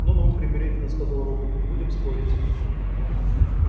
ну ну примирительно сказал робот не будем спорить